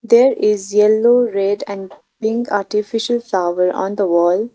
there is yellow red and pink artificial flower on the wall.